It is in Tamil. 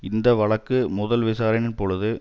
இந்த வழக்கு முதல் விசாரணையின் பொழுது